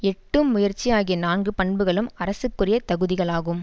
எட்டும் முயற்சி ஆகிய நான்கு பண்புகளும் அரசுக்குரிய தகுதிகளாகும்